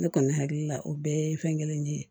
Ne kɔni hakili la o bɛɛ ye fɛn kelen ne ye